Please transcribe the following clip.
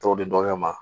Tɔw di dɔgɔkɛ ma